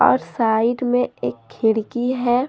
और साइड में एक खिड़की है।